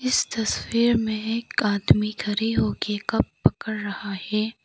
इस तस्वीर में एक आदमी खड़े हो के कप पकड़ रहा है।